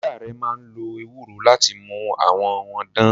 Ìyá rẹ̀ máa ń lo ewúro láti mú àwọ̀ wọn dán.